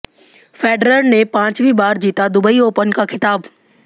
Federer ने पांचवीं बार जीता दुबई ओपन का खिताब